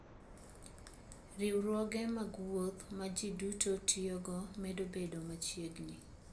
Riwruoge mag wuoth ma ji duto tiyogo medo bedo machiegni.